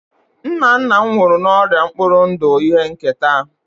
nna nna m nwụrụ n'ọrịa mkpụrụ ndụ ihe nketa